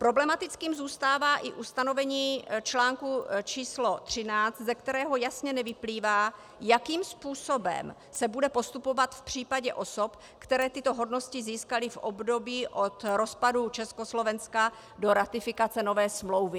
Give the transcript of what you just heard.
Problematickým zůstává i ustanovení článku č. 13, ze kterého jasně nevyplývá, jakým způsobem se bude postupovat v případě osob, které tyto hodnosti získaly v období od rozpadu Československa do ratifikace nové smlouvy.